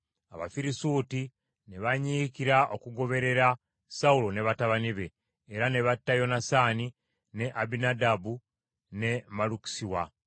Abafirisuuti ne banyiikira okugoberera Sawulo ne batabani be, era ne batta Yonasaani, ne Abinadaabu ne Malukisuwa.